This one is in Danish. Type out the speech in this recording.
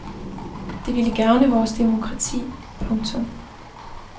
Det ville gavne vores demokrati. punktum